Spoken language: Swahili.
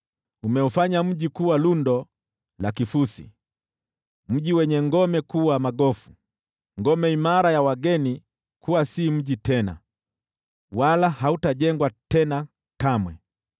Umeufanya mji kuwa lundo la kifusi, mji wenye ngome kuwa magofu, ngome imara ya wageni kuwa si mji tena, wala hautajengwa tena kamwe.